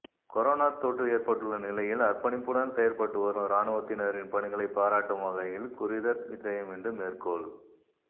corona தொற்ற ஏற்பட்டுள்ள நிலையில் அர்பணிப்புடன் செயற்பட்டுவரும் இராணுவத்தினரின் பணிகளை பாராட்டும் வகையில் குறிதத் விஜயம்இன்று மேற்கொள்